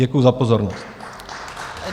Děkuji za pozornost.